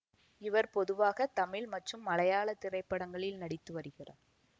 இவர் பொதுவாக தமிழ் மற்றும் மலையாள திரைப்படங்களில் நடித்து வருகிறார்